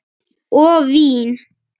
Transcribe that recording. Og vín.